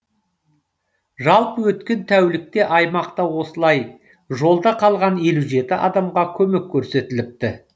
жалпы өткен тәулікте аймақта осылай жолда қалған елу жетінші адамға көмек көрсетіліпті